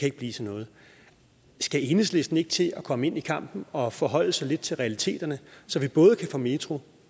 ikke blive til noget skal enhedslisten ikke til at komme ind i kampen og forholde sig lidt til realiteterne så vi både kan få metro